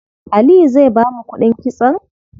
Aliyu zai bamu kuɗin kitson?